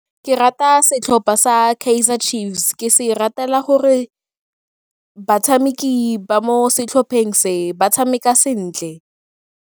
Ke rata setlhopha sa Kaizer Chiefs, ke se ratela gore batshameki ba mo setlhopheng se ba tshameka sentle.